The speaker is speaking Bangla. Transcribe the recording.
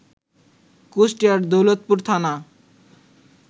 কুষ্টিয়ার দৌলতপুর থানা